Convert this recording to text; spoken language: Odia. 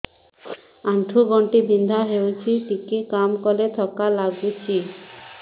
ଆଣ୍ଠୁ ଗଣ୍ଠି ବିନ୍ଧା ହେଉଛି ଟିକେ କାମ କଲେ ଥକ୍କା ଲାଗୁଚି